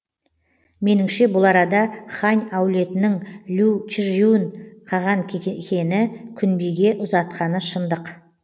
меніңше бұл арада хань әулетінің лю чижюн қаған күнбиге ұзатқаны шындық